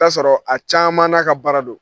I bi taa sɔrɔ a caman n'a ka baara don.